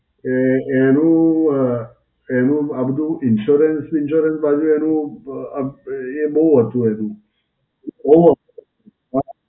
એ એનું અ, એનું આ બધુ Insurance વીન્સ્યોરન્સ બાકી આમ એ બહું હતું એનું